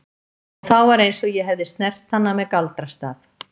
Og þá var eins og ég hefði snert hana með galdrastaf.